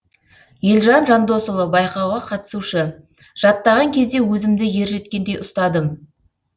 елжан жандосұлы байқауға қатысушы жаттаған кезде өзімді ержеткендей ұстадым